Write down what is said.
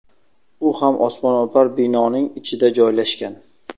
U ham osmono‘par binoning ichida joylashgan.